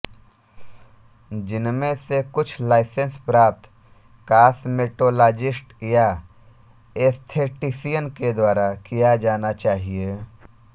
जिनमें से कुछ लाइसेंस प्राप्त कॉसमेटोलॉजीस्ट या एस्थेटिसियन के द्वारा किया जाना चाहिए